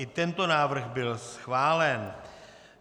I tento návrh byl schválen.